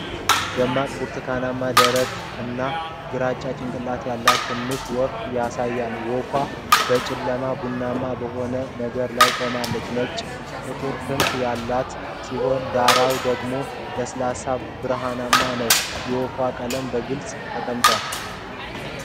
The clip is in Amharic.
ደማቅ ብርቱካናማ ደረት እና ግራጫ ጭንቅላት ያለውን ትንሽ ወፍ ያሳያል። ወፏ በ ጨለማና ቡናማ በሆነ ነገር ላይ ቆማለች። ነጭና ጥቁር ክንፎች ያሏት ሲሆን ዳራው ደግሞ ለስላሳና ብርሃናማ ነው። የወፏ ቀለሞች በግልጽ ተቀምጧል።